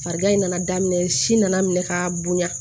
Farigan in nana daminɛ si nana minɛ ka bonya